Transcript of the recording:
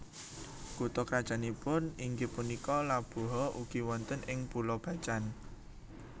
Kutha krajannipun inggih punika Labuha ugi wonten ing Pulo Bacan